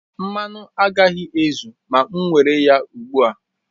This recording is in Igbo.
Mmanụ agaghị ezu ma m were ya ugbu a